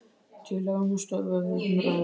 Tillaga um að stöðva umræður.